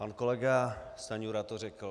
Pan kolega Stanjura to řekl.